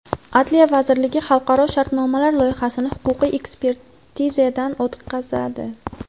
Adliya vazirligi xalqaro shartnomalar loyihasini huquqiy ekspertizadan o‘tkazadi.